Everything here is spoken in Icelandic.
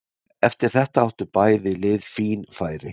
Eftir þetta áttu bæði lið fín færi.